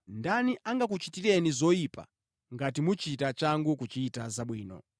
Ndani angakuchitireni zoyipa ngati muchita changu kuchita zabwino?